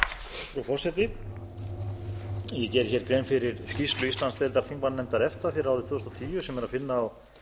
frú forseti ég geri hér grein fyrir skýrslu íslandsdeildar þingmannanefndar efta fyrir árið tvö þúsund og tíu sem er að finna á